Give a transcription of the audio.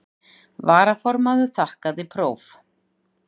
Varaformaður þakkaði próf.